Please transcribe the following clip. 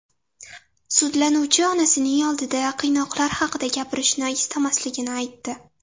Sudlanuvchi onasining oldida qiynoqlar haqida gapirishni istamasligini aytdi.